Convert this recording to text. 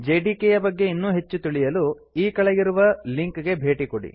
JDK ಯ ಬಗ್ಗೆ ಇನ್ನೂ ಹೆಚ್ಚು ತಿಳಿಯಲು ಈ ಕೆಳಗಿರುವ ಲಿಂಕ್ ಗೆ ಭೇಟಿ ಕೊಡಿ